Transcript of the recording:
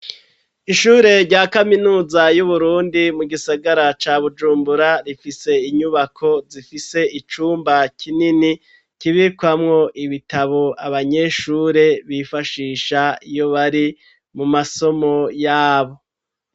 Ishure rya kaminuza y'uburundi mu gisagara ca bujumbura rifise inyubako zifise icumba kinini kibikwamwo ibitabo abanyeshure bifashisha iyo bari mu masomo yabo.